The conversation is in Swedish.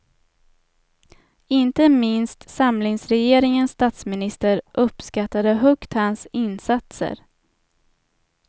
Inte minst samlingsregeringens statsminister uppskattade högt hans insatser.